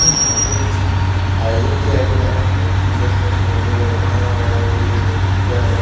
यहाँ पे कुछ आयोजन किया गया है क्यूकी जैसा की धुआँ वगेरा उठा रही है | शायद कुछ पूजा हो रहा है |